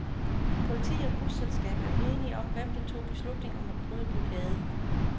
Politi og busselskab er uenige om hvem der tog beslutning om at bryde blokade.